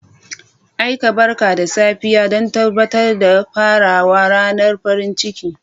Aika barka da safiya don tabbatar da farawar ranar farin ciki.